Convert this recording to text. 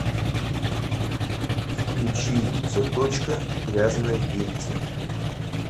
включи заточка грязное дельце